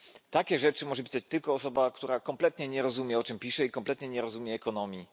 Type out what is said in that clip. Takie rzeczy może pisać tylko osoba, która kompletnie nie rozumie, o czym pisze, i kompletnie nie rozumie ekonomii.